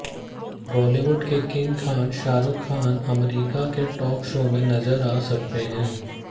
बॉलीवुड के किंग खान शाहरूख खान अमरीका के टॉक शो में नजर आ सकते हैं